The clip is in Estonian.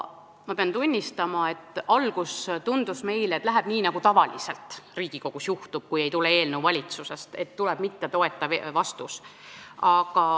Ma pean tunnistama, et alguses tundus meile, et läheb nii, nagu tavaliselt Riigikogus juhtub, kui eelnõu ei tule valitsusest, st et tuleb mittetoetav vastus.